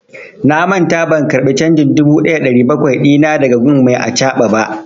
Na manta ban karba canjin dubu ɗaya da ɗari bakwai dina da ga gun mai acaɓa ba.